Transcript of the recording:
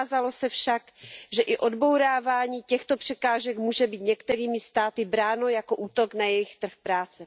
Ukázalo se však, že i odbourávání těchto překážek může být některými státy bráno jako útok na jejich trh práce.